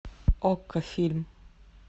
окко фильм